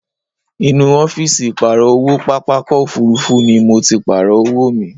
Inú ọ́fìsì ìpààrọ̀ owó pápákọ̀ òfuurufú ni mo ti Pààrọ̀ owó mi